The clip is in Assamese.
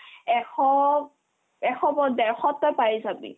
এশত এশ ক'ত ডেৰশত তই পাই যাবি